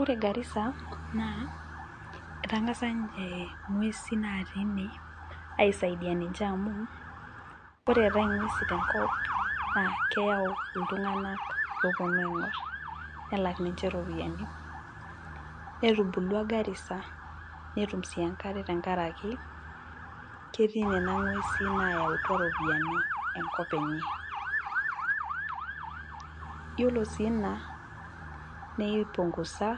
Ore garisa etagasa ninche ngwesin natii ine aisaidia niche amu ore eetae ngwesin tenkop naaakeponu iltunganak aingor nelak ninche ropiyiani ,netubulua garissa netum sii enkare tenkaraki ketii Nena gwesin nayautua ropiyiani enkop enye, yiolo sii ina neipungusa